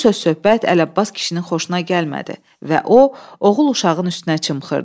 Bu söz-söhbət Ələbbas kişinin xoşuna gəlmədi və o, oğul uşağının üstünə çımxırdı.